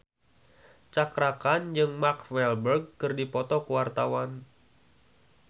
Cakra Khan jeung Mark Walberg keur dipoto ku wartawan